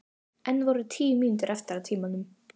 Enn voru tíu mínútur eftir af tímanum.